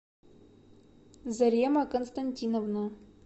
зарема константиновна